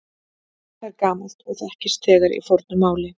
Það er gamalt og þekkist þegar í fornu máli.